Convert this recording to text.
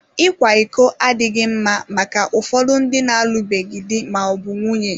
Ịkwa iko adịghị mma maka ụfọdụ ndị na-alụbeghị di ma ọ bụ nwunye.